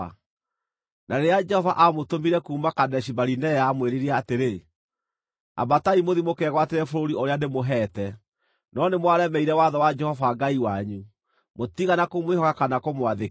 Na rĩrĩa Jehova aamũtũmire kuuma Kadeshi-Barinea, aamwĩrire atĩrĩ, “Ambatai mũthiĩ mũkegwatĩre bũrũri ũrĩa ndĩmũheete.” No nĩ mwaremeire watho wa Jehova Ngai wanyu. Mũtiigana kũmwĩhoka kana kũmwathĩkĩra.